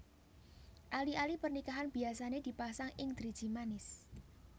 Ali ali pernikahan biyasane dipasang ing driji manis